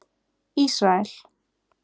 Ísrael